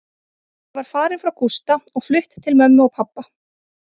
Ég var farin frá Gústa og flutt til mömmu og pabba.